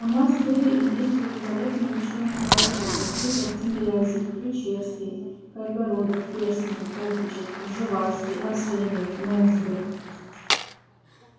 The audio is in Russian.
у нас были и есть великолепные ученые-поэты такие как тимирязев ключевский кайгородов ферсман обручев пржевальский арсеньев мензбир